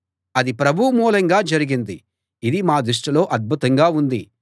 అది ప్రభువు మూలంగా జరిగింది ఇది మా దృష్టిలో అద్భుతంగా ఉంది